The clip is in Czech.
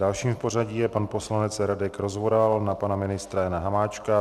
Dalším v pořadí je pan poslanec Radek Rozvoral na pana ministra Jana Hamáčka.